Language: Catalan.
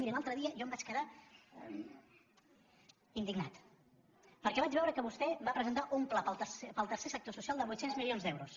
miri l’altre dia jo em vaig quedar indignat perquè vaig veure que vostè va presentar un pla per al tercer sector social de vuit cents milions d’euros